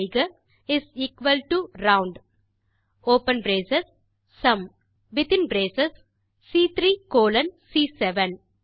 type செய்க is equal to roundஒப்பன் brace sum மீண்டும் வித்தின் பிரேஸ் சி3 கோலோன் சி7